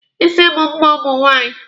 Isi bụ mma ụmụ nwaanyị.